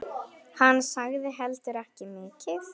Hann sagði heldur ekki mikið.